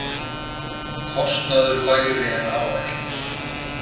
Kostnaður lægri en áætlun